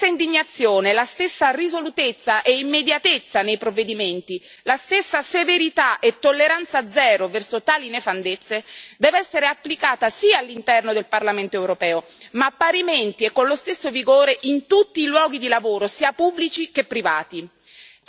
La stessa indignazione, la stessa risolutezza e immediatezza nei provvedimenti, la stessa severità e tolleranza zero verso tali nefandezze devono essere applicate sì all'interno del Parlamento europeo, ma parimenti e con lo stesso vigore in tutti i luoghi di lavoro, sia pubblici che privati.